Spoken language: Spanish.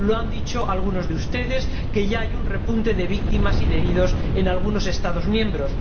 Como han dicho algunos de ustedes, ya hay un repunte de víctimas y de heridos en algunos Estados miembros.